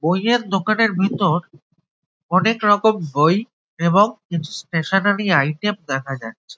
বইয়ের দোকানের ভিতর অনেক রকম বই এবং স্টেশনারী আইটেম দেখা যাচ্ছে।